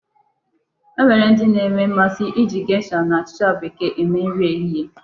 E nwere ndị na-enwe mmasị iji gesha na achịcha Bekee eme nri ehihie.